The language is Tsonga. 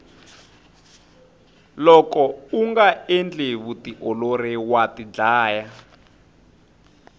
loko unga endli vutiolori wa tidlaya